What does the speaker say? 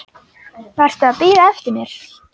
Varstu að bíða eftir mér?